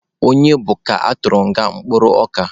Onye bụ ka atụrụ nga kpụrụ ọka?